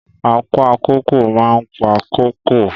Apa kóko máa ń pa kóko.